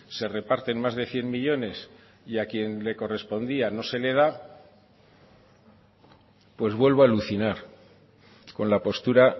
se reparten más de cien millónes y a quien le correspondía no se le da pues vuelvo a alucinar con la postura